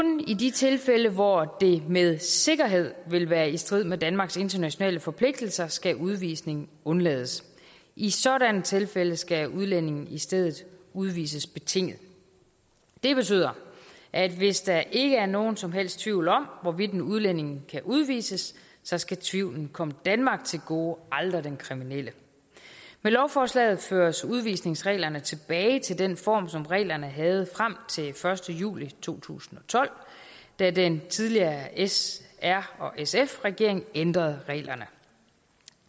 i de tilfælde hvor det med sikkerhed vil være i strid med danmarks internationale forpligtelser skal udvisning undlades i sådanne tilfælde skal udlændinge i stedet udvises betinget det betyder at hvis der ikke er nogen som helst tvivl om hvorvidt en udlænding kan udvises så skal tvivlen komme danmark til gode aldrig den kriminelle med lovforslaget føres udvisningsreglerne tilbage til den form som reglerne havde frem til den første juli to tusind og tolv da den tidligere s r sf regering ændrede reglerne